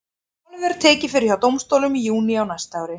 Málið verður tekið fyrir hjá dómstólum í júní á næsta ári.